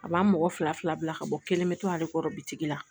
A b'a mɔgɔ fila fila bila ka bɔ kelen bɛ to ale kɔrɔ bitigi la